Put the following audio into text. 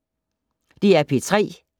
DR P3